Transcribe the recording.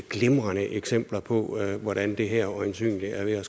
glimrende eksempler på hvordan det her øjensynlig er ved at